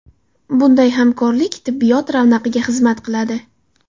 Bunday hamkorlik tibbiyot ravnaqiga xizmat qiladi.